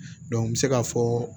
n bɛ se ka fɔ